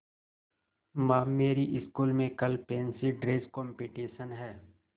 माँ मेरी स्कूल में कल फैंसी ड्रेस कॉम्पिटिशन है